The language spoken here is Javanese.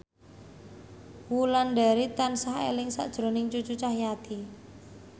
Wulandari tansah eling sakjroning Cucu Cahyati